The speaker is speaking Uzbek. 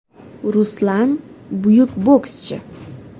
Ruslan buyuk bokschi!